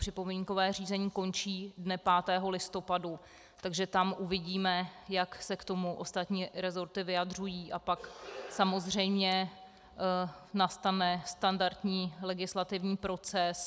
Připomínkové řízení končí dne 5. listopadu, takže tam uvidíme, jak se k tomu ostatní rezorty vyjadřují, a pak samozřejmě nastane standardní legislativní proces.